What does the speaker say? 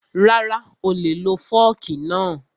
Rara, oolè lo fọ́ọ̀kì náà